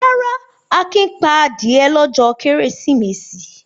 Rárá, Akin pa adìẹ lọ́jọ́ Kérésìmesì.